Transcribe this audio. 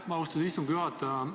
Aitäh, austatud istungi juhataja!